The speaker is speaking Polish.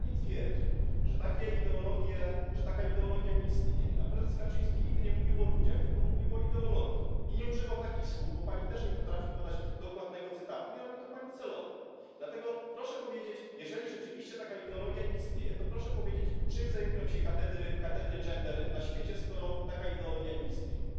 Skoro pani twierdzi, że taka ideologia nie istnieje, a prezes Kaczyński nigdy nie mówił o ludziach, tylko mówił o ideologii i nie używał takich słów, bo Pani też nie potrafi podać dokładnego cytatu i robi to pani celowo, dlatego proszę powiedzieć, jeżeli rzeczywiście taka ideologia nie istnieje, to proszę powiedzieć, czym zajmują się katedry gender na świecie, skoro taka ideologia nie istnieje.